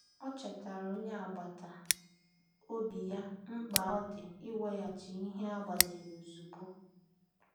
Ọ chetaara onye agbata obi ya mkpa ọ dị iweghachi ihe e gbaziri ozugbo.